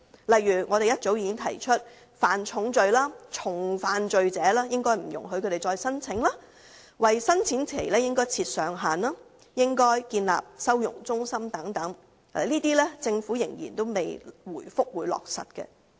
例如我們早已提出，不應容許犯下重罪或重複犯罪者再次申請、為申請期設上限，以及建立收容中心等，但政府仍未回覆會落實這些建議。